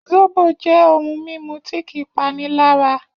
Zóbò jẹ́ ohun-ìmu tí kì í panilára